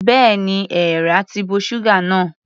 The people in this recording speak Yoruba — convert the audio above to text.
Bẹ́ẹ̀ni, èeàrà ti bo ṣúgà náà.